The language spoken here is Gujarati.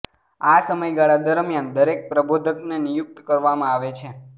આ સમયગાળા દરમિયાન દરેક પ્રબોધકને નિયુક્ત કરવામાં આવે છે